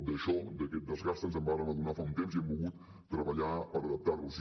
d’això d’aquest desgast ens en vàrem adonar fa un temps i hem volgut treballar per adaptar nos hi